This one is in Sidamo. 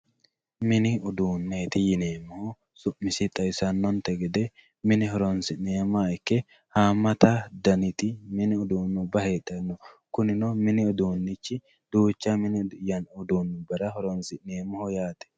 mini uduunneeti yineemmohu su'misi xawisannonte gede mne horonsi'neemmoha ikke haammata daniti mini uduunnubba heedhanno kunino mi ni uduunnichu mini uduunnubbara horonsi'neemmoho yaate.